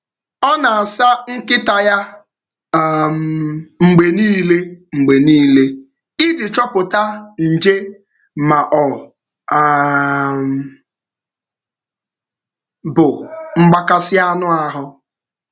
Ọ na-asa nkịta na-asa nkịta um ya mgbe niile iji chọpụta nje ma ọ bụ mgbakasị anụ ahụ.